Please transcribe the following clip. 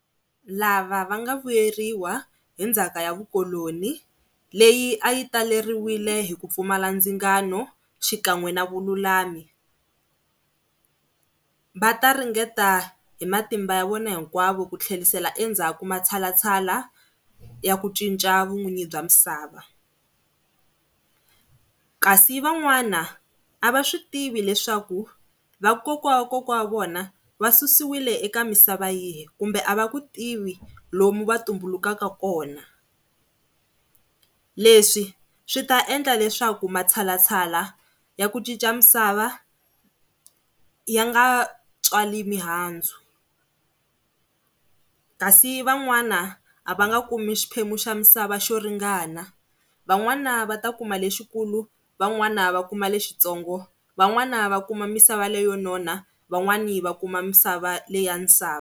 Lava va nga vuyeriwa hi ndzhaka ya vukoloni leyi a yi taleriwile hi ku pfumala ndzingano xikan'we na vululami, va ta ringeta hi matimba ya vona hinkwavo ku tlherisela endzhaku matshalatshala ya ku cinca vun'wini bya misava. Kasi van'wana va swi tivi leswaku vakokwawakokwana wa vona va susiwe eka misava yihi, kumbe a va ku tivi lomu va tumbulukaka kona. Leswi swi ta endla leswaku matshalatshala ya ku cinca misava ya nga tswali mihandzu kasi van'wani a va nga kumi xiphemu xa misava xo ringana, van'wana va ta kuma lexikulu van'wana va kuma lexitsongo van'wana va kuma misava leyi yo nona, van'wana va kuma misava leya sava.